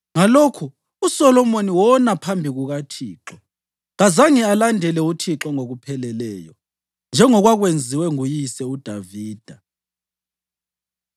Ngalokho uSolomoni wona phambi kukaThixo; kazange alandele uThixo ngokupheleleyo, njengokwakwenziwe nguyise uDavida.